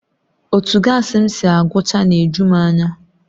Otu gaasi m si agụchaa na-eju m anya